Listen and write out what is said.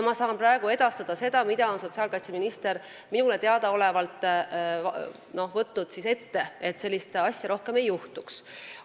Mina saan praegu edastada seda, mida sotsiaalkaitseminister on minu teada ette võtnud, et sellist asja rohkem ei juhtuks.